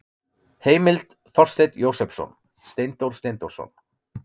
Heimild: Þorsteinn Jósepsson, Steindór Steindórsson.